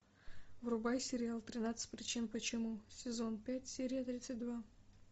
врубай сериал тринадцать причин почему сезон пять серия тридцать два